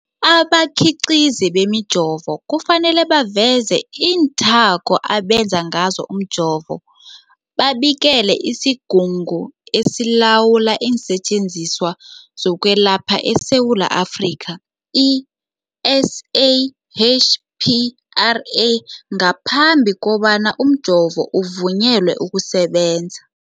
Abakhiqizi bemijovo kufanele baveze iinthako abenze ngazo umjovo, babikele isiGungu esiLawula iinSetjenziswa zokweLapha eSewula Afrika, i-SAHPRA, ngaphambi kobana umjovo uvunyelwe ukusebenza.